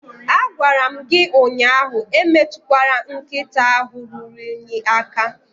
Agwara m gi ụnyahụ emetukwala nkịta ahụ ruru unyi aka